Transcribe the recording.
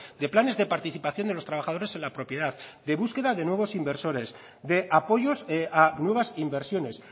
de planes de participación de los trabajadores en la propiedad de búsqueda de nuevos inversores de apoyos a nuevas inversiones